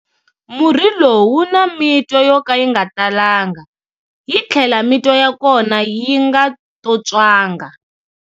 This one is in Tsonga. Murhi lowu wu na mitwa yo ka yi nga talanga, yi tlhela mitwa ya kona yi nga tontswanga.